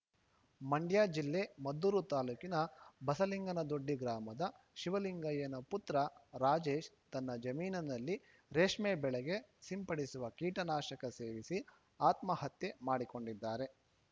ಮಂಡ್ಯ ಜಿಲ್ಲೆ ಮದ್ದೂರು ತಾಲೂಕಿನ ಬಸಲಿಂಗನದೊಡ್ಡಿ ಗ್ರಾಮದ ಶಿವಲಿಂಗಯ್ಯನ ಪುತ್ರ ರಾಜೇಶ್‌ ತನ್ನ ಜಮೀನಿನಲ್ಲಿ ರೇಷ್ಮೆ ಬೆಳೆಗೆ ಸಿಂಪಡಿಸುವ ಕೀಟನಾಶಕ ಸೇವಿಸಿ ಆತ್ಮಹತ್ಯೆ ಮಾಡಿಕೊಂಡಿದ್ದಾರೆ